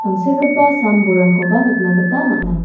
tangsekgipa sam-bolrangkoba nikna gita man·a.